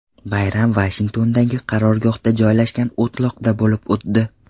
Bayram Vashingtondagi qarorgohda joylashgan o‘tloqda bo‘lib o‘tdi.